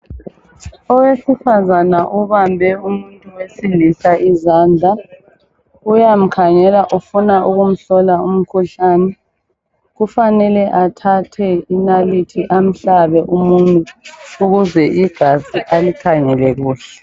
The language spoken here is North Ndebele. Owesifazane obambe umuntu wesilisa izandla. Uyamkhangela ufuna ukumhlola umkhuhlani. Kufanele athathe inalithi amhlabe umunwe ukuze igazi alikhangele kuhle.